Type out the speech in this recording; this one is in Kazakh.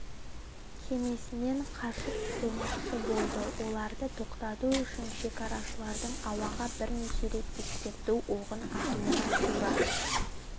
кемесінен қашып құтылмақшы болды оларды тоқтату үшін шекарашылардың ауаға бірнеше рет ескерту оғын атуына тура